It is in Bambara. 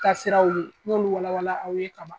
Kasiraw ye n y'olu wala wala aw ye kaban.